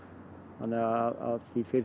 þannig að því fyrr því